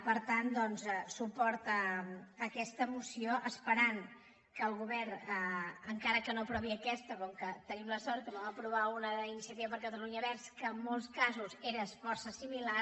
per tant doncs suport a aquesta moció esperant que el govern encara que no aprovi aquesta com que tenim la sort que en vam aprovar una d’iniciativa per catalunya verds que en molts casos era força similar